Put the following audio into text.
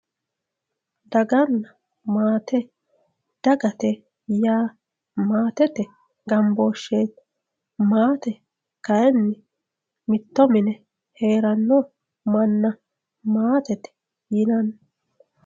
Daganna maate, dagate yaa maatete gamboosheti maate kayinni mitto mine heerano manna maatete yinanni.